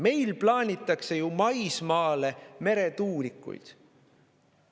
Meil plaanitakse ju maismaale meretuulikuid.